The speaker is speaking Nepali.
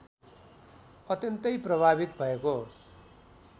अत्यन्तै प्रभावित भएको